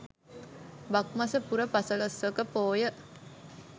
බක් මස පුර පසළොස්වක පෝය